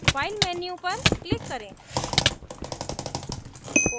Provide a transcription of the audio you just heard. file menu पर click करें